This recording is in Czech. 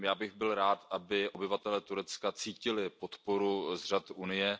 Já bych byl rád, aby obyvatelé Turecka cítili podporu z řad Unie.